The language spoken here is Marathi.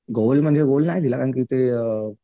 गोल म्हणजे गोल नाही दिला कारण की ते.